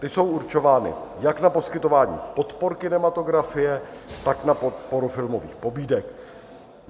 Ty jsou určovány jak na poskytování podpor kinematografie, tak na podporu filmových pobídek.